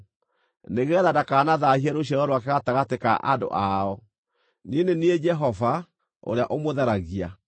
nĩgeetha ndakanathaahie rũciaro rwake gatagatĩ ka andũ ao. Niĩ nĩ niĩ Jehova, ũrĩa ũmũtheragia.’ ”